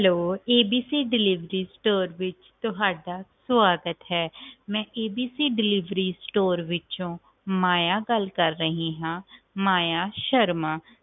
ABCDeliveryservice ਵਿਚ ਤੁਹਾਡਾ ਸਵਾਗਤ ਹੈ ਮੈਂ ABCDeliveryService ਵਿੱਚੋ ਮਾਇਆ ਗੱਲ ਕਰ ਰਹੀ ਆ ਮਾਇਆ ਸ਼ਰਮਾ